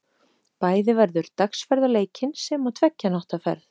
Bæði verður dagsferð á leikinn, sem og tveggja nátta ferð.